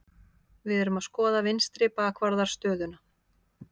Við erum að skoða vinstri bakvarðar stöðuna.